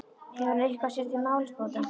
Hefur hann eitthvað sér til málsbóta?